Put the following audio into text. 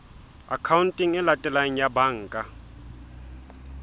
akhaonteng e latelang ya banka